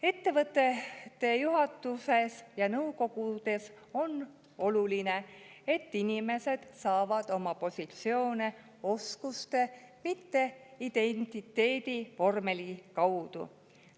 Ettevõtte juhatuse ja nõukogu puhul on oluline, et inimesed saavad positsiooni oma oskuste, mitte identiteedivormeli alusel.